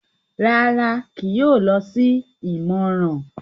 Rárá, kìí yóò lọ si ìmọràn